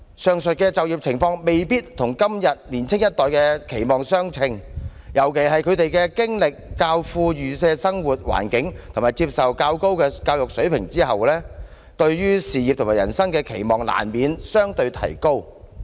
上述的就業情況未必與現今年青一代的期望相稱，尤其是他們經歷較富裕的生活環境和接受較高的教育水平後，對事業和人生的期望難免相對提高"。